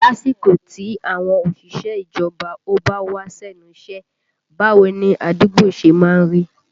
Lásìkò tí àwọn òṣìṣẹ́ ìjọba ò bá wá sẹ́nu iṣẹ́, báwo ni àdúgbò ṣe má ń rí?